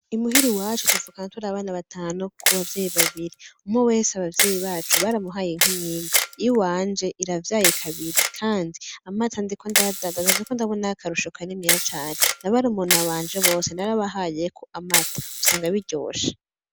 Imuhira iwacu tukavukana turabana batanu kubavyeyi babiri umwe wese abavyeyi bacu baramuhaye inka imwimwe iyiwanje iravye kabiri kandi amata ndiko ndayadandaza ndiko ndabonayo akarusho kaniniya cane n'abarumuna banje bose narabahayeko amata usanga biryoshe.